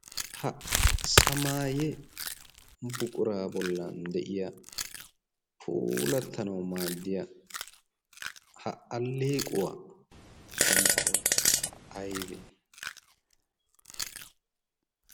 Ha sanaayye buquraa bollan de"iya puulattanawu maaddiya ha alleequwa sunttayi aybee?